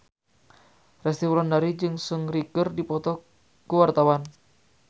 Resty Wulandari jeung Seungri keur dipoto ku wartawan